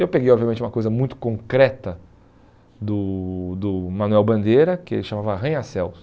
Eu peguei, obviamente, uma coisa muito concreta do do Manuel Bandeira, que ele chamava Arranha-Céus.